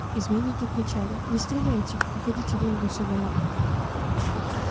изменники кричали не стреляйте выходите вон к государю